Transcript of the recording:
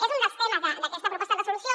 és un dels temes d’aquesta proposta de resolució